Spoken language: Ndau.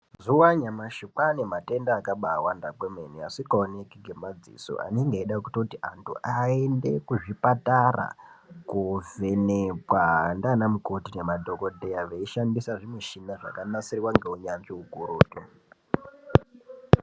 Mazuva anyamashi kwaa nematenda akabaawanda kwemene, asingaonekwi ngemadzisoo anenge eida kutoti antu aende kuzvipatara kovhenekwaa ndianamukoti nemadhokodheyaa veishandisa zvimishina zvakanasirwaa neunyanzvi ukurutu.